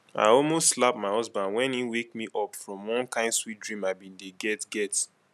i almost slap my husband wen he wake me up from one kin sweet dream i bin dey get get